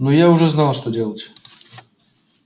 но я уже знал что делать